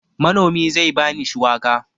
Manomi zai ba ni shuwaka.